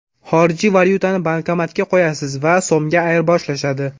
Xorijiy valyutani bankomatga qo‘yasiz va … so‘mga ayirboshlanadi!.